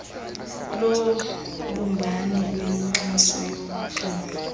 yobumbano lwenkxaso yoxolo